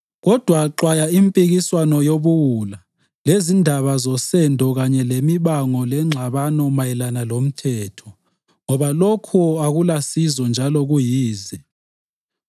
Kodwa xwaya impikiswano yobuwula lezindaba zosendo kanye lemibango lengxabano mayelana lomthetho ngoba lokhu akulasizo njalo kuyize.